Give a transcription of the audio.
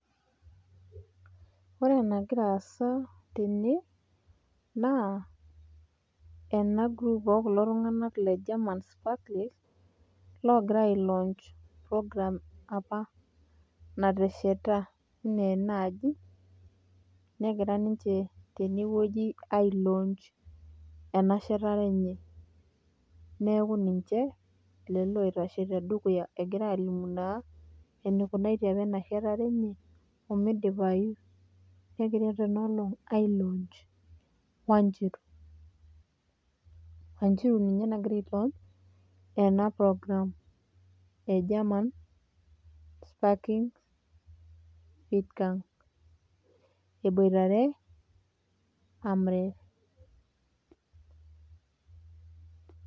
Ore enangira asa tene naa ena group okulo tungana le german sparklist longira a ilaunch[cs program apa natesheta, ena ena aji nengira ninche teneweuji ailaunch ena shetare enye niaku ninche lelo ongira aitashe tedukuya engira alimu naa enakunatie ena shetare enye, oimidipayu nengirae tena olong ai launch wanjiru, wanjiru ninye nangira ailaunch ena program e german sparkin vitang eboitare emref.